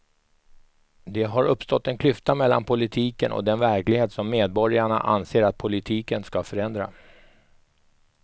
Det har uppstått en klyfta mellan politiken och den verklighet som medborgarna anser att politiken ska förändra.